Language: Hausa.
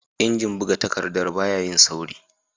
Injin buga takaddar baya yin sauri